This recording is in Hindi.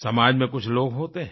समाज में कुछ लोग होते हैं